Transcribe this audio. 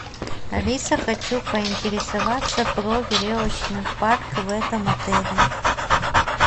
алиса хочу поинтересоваться про веревочный парк в этом отеле